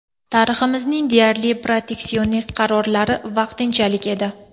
Tariximizning deyarli proteksionist qarorlari ‘vaqtinchalik’ edi.